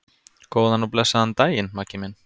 Góðan og blessaðan daginn, Maggi minn.